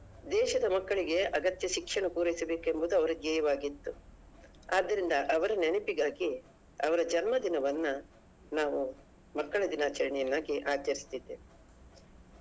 ದೇಶದ ಮಕ್ಕಳಿಗೆ ಅಗತ್ಯ ಶಿಕ್ಷಣ ಪೂರೈಸಬೇಕೆಂಬುದು ಅವರ ಧ್ಯೇಯವಾಗಿತ್ತು ಆದ್ದರಿಂದ ಅವರ ನೆನಪಿಗಾಗಿ ಅವರ ಜನ್ಮ ದಿನವನ್ನ ನಾವು ಮಕ್ಕಳ ದಿನಾಚರಣೆಯನ್ನಾಗಿ ಆಚಾರಿಸುತ್ತಿದ್ದೇವೆ .